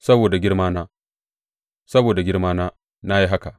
Saboda girmana, saboda girmana, na yi haka.